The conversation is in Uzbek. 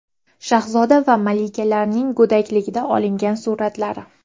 Shahzoda va malikalarning go‘dakligida olingan suratlari .